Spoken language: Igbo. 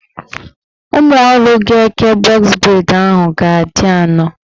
Ụmụọrụ ga-eke bọz breid ahụ ga-adị anọ